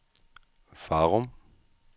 Farum